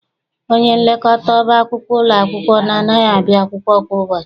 Onyenlekọta ọba akwụkwọ ụlọ akwụkwọ m anaghị abịa akwụkwọ kwa ụbọchị.